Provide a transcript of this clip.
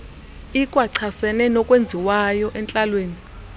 ikwachasene nokwenziwayo entlalweni